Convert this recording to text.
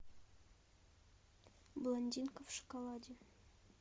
блондинка в шоколаде